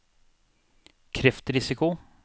kreftrisiko